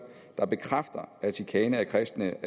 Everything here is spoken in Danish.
der bekræfter at chikane af kristne